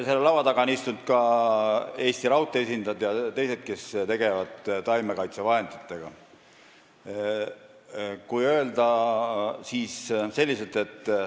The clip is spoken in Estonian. Selle laua taga on istunud ka Eesti Raudtee esindajad ja teised, kes tegelevad taimekaitsevahenditega.